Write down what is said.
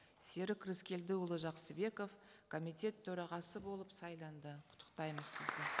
серік рыскелдіұлы жақсыбеков комитет төрағасы болып сайланды құттықтаймыз сізді